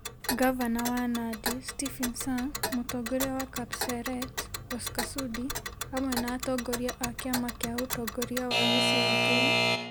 Ngavana wa Nandi Stephen Sang, mũtongoria wa Kapseret Oscar Sudi hamwe na atongoria a kĩama kĩa ũtongoria wa gĩcigo kĩu,